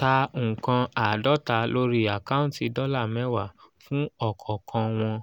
ta nnkan àádọ́ta lórí àkáǹtì dọ́là mẹ́wàá fún ọ̀kọ̀ọ̀kan wọn